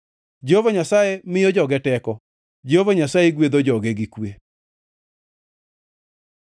Jehova Nyasaye miyo joge teko; Jehova Nyasaye gwedho joge gi kwe.